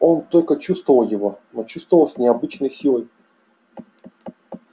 он только чувствовал его но чувствовал с необычайной силой